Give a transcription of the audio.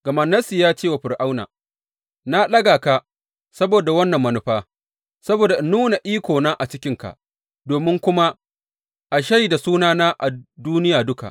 Gama Nassi ya ce wa Fir’auna, Na ɗaga ka saboda wannan manufa, saboda in nuna ikona a cikinka domin kuma a shaida sunana a duniya duka.